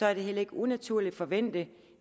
er det heller ikke unaturligt at forvente